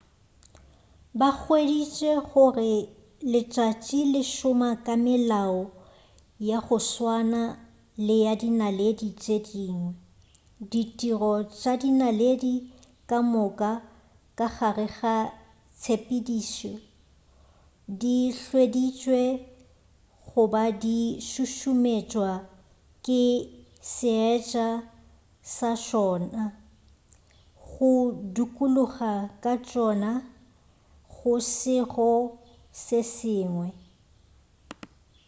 ba hweditše gore letšatši le šoma ka melao ya go swana le ya dinaledi tše dingwe ditiro tša dinaledi ka moka ka gare ga tshepedišo di hweditšwe go ba di šušumetšwa ke seetša sa tšona go dukuloga ga tšona go sego se sengwe